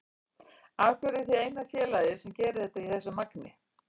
Af hverju eruð þið eina félagið sem gerir þetta í þessu magni?